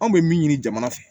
Anw bɛ min ɲini jamana fɛ